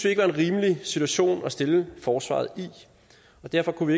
ikke var en rimelig situation at stille forsvaret i og derfor kunne